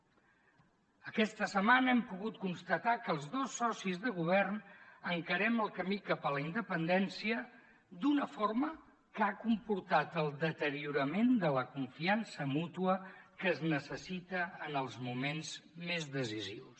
aquesta setmana hem pogut constatar que els dos socis de govern encarem el camí cap a la independència d’una forma que ha comportat el deteriorament de la confiança mútua que es necessita en els moments més decisius